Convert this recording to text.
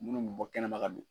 Munnu b'ɛ bɔ kɛnɛma ka don.